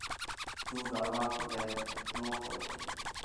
Thutha wa kũgetha no kwendia tu